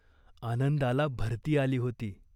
आनंदाला भरती आली होती.